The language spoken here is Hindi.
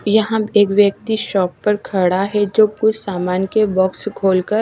यहां पे एक व्यक्ति शाॅप पर खड़ा है जो कुछ सामान के बॉक्स खोल कर--